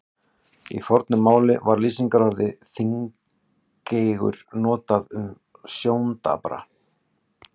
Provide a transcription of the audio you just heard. Í fornu máli var lýsingarorðið þungeygur notað um sjóndapra.